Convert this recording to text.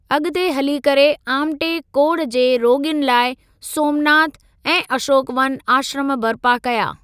अॻिते हली करे आमटे कोड़ जे रोॻियुनि लाइ 'सोमनाथ' ऐं 'अशोक वन' आश्रम बर्पा कया।